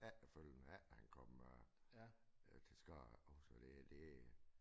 Efterfølgende efter han kom øh øh til skade og selvfølgelig det det